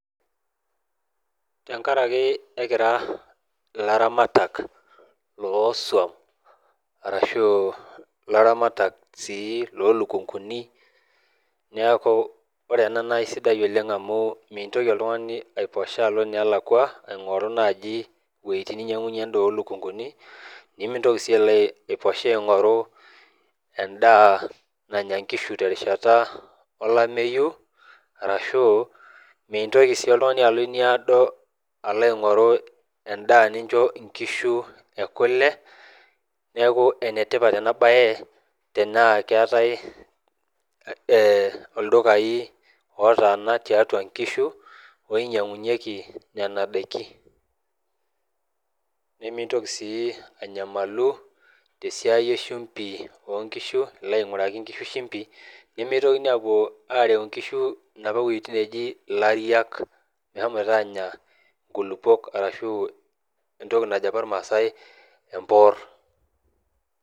Tenkarake ekira ilaramatak losuam arashu ilaramatak sii lolukunkuni niaku ore ena naa aisidai oleng amu mintoki oltung'ani aiposha alo inelakua aing'oru naaji iwuejitin ninyiang'uyie endaa olukunkuni nimintoki sii alo aiposha aing'oru endaa nanya inkishu terishata olameyu arashu mintoki sii oltung'ani alo eniado alo aing'oru endaa nincho inkishu ekule neku enetipat ena baye tenaa keetae eh oldukai otaana tiatua nkishu oinyiang'unyieki nena daiki nemintoki sii anyamalu tesiai eshumbi onkishu ilo aing'uraki inkishu shimbi nemitokini apuo arew inkishu inapa wuejitin neeji ilariak mehomoito anya inkulupuok arashu entoki najo apa irmasae emporr.